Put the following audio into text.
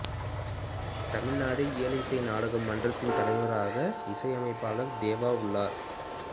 தமிழ்நாடு இயல் இசை நாடகம் மன்றத்தின் தலைவராக இசையமைப்பாளர் தேவா உள்ளார்